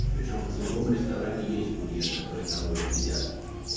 причём в целевом ресторане есть курьеры которые там уже сидят